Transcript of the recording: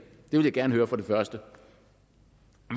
vil jeg gerne høre som det første